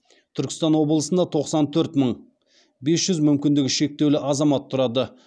түркістан облысында тоқсан төрт мың бес жүз мүмкіндігі шектеулі азамат тұрады